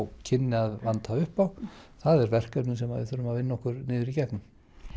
kynni að vanta upp á það er verkefni sem við þurfum að vinna okkur í gegnum